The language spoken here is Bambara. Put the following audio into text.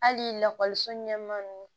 Hali lakɔliso ɲɛmaa ninnu